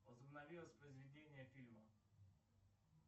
возобнови воспроизведение фильма